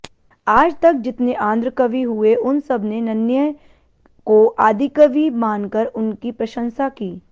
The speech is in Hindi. आजतक जितने आंध्र कवि हुए उन सबने नन्नय्य को आदिकवि मानकर उनकी प्रशंसा की